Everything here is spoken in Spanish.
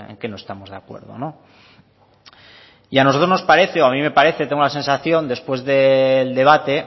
qué no estamos de acuerdo y a nosotros nos parece o a mí me parece tengo la sensación después del debate